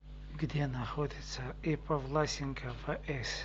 где находится ип власенко вс